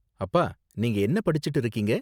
அப்பா, நீங்க என்ன படிச்சுட்டு இருக்கீங்க?